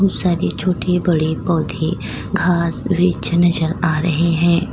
बोहोत सारे छोटे-बड़े पौधे घास वृक्ष नजर आ रहे हैं।